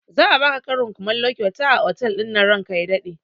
Za a baka karin kumallo kyauta a otal ɗinnan ranka ya daɗe